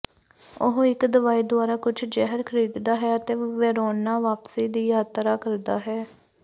ਉਹ ਇੱਕ ਦਵਾਈ ਦੁਆਰਾ ਕੁਝ ਜ਼ਹਿਰ ਖਰੀਦਦਾ ਹੈ ਅਤੇ ਵੇਰੋਨਾ ਵਾਪਸੀ ਦੀ ਯਾਤਰਾ ਕਰਦਾ ਹੈ